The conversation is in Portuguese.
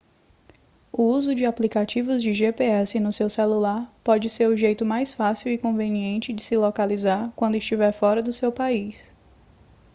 o uso de aplicativos de gps no seu celular pode ser o jeito mais fácil e conveniente de se localizar quando estiver fora do seu país